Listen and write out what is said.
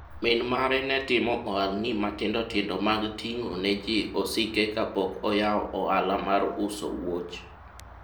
min mare ne timo ohalni matindo tindo mag ting'o neji osike kapok oyawo ohala mar uso wuoch